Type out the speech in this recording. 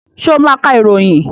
Ṣé ó máa ka ìròyìn?